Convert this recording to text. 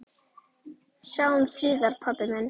Sjáumst síðar, pabbi minn.